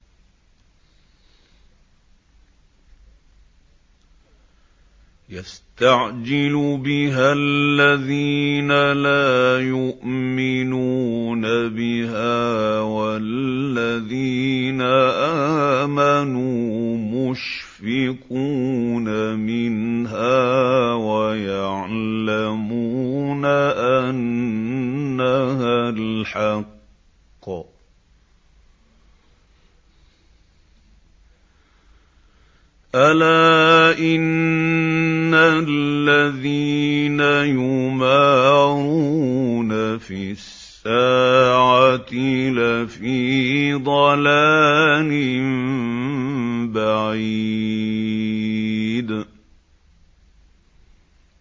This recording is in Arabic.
يَسْتَعْجِلُ بِهَا الَّذِينَ لَا يُؤْمِنُونَ بِهَا ۖ وَالَّذِينَ آمَنُوا مُشْفِقُونَ مِنْهَا وَيَعْلَمُونَ أَنَّهَا الْحَقُّ ۗ أَلَا إِنَّ الَّذِينَ يُمَارُونَ فِي السَّاعَةِ لَفِي ضَلَالٍ بَعِيدٍ